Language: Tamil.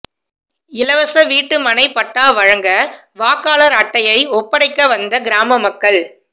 இலவச வீட்டு மனை பட்டா வழங்குக வாக்காளர் அட்டையை ஒப்படைக்க வந்த கிராம மக்கள்